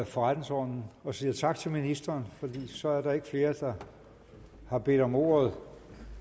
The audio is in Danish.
forretningsordenen og siger tak til ministeren for så er der ikke flere der har bedt om ordet